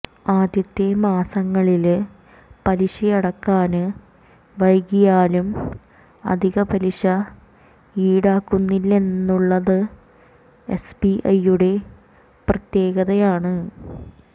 ആദ്യത്തെ മാസങ്ങളില് പലിശയടക്കാന് വൈകിയാലും അധിക പലിശ ഈടാക്കുന്നില്ലെന്നുള്ളത് എസ്ബിഐയുടെ പ്രത്യേകതയാണ്